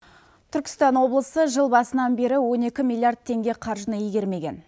түркістан облысы жыл басынан бері он екі миллиаррд теңге қаржыны игермеген